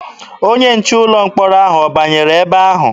Onye nche ụlọ mkpọrọ ahụ ọ banyere ebe ahụ?